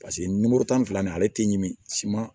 Paseke nimoro tan ni fila nin ale tɛ ɲimi siman